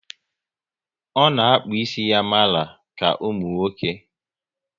O na akpu ísì ya mara ka ụmụnwoke